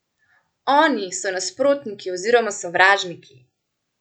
Oni so nasprotniki oziroma sovražniki!